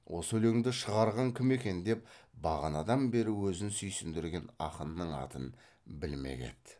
осы өлеңді шығарған кім екен деп бағанадан бері өзін сүйіндірген ақынның атын білмек еді